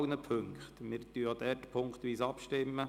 Wir stimmen auch hier punktweise ab.